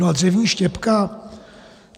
No a dřevní štěpka?